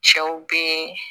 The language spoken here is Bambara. Cɛw bee